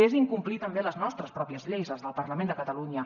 és incomplir també les nostres pròpies lleis les del parlament de catalunya